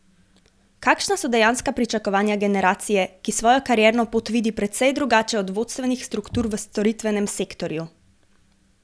Kakšna so dejanska pričakovanja generacije, ki svojo karierno pot vidi precej drugače od vodstvenih struktur v storitvenem sektorju?